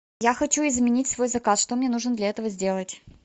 я хочу изменить свой заказ что мне нужно для этого сделать